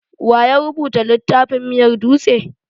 Waya rubuta littafin miyar dutse?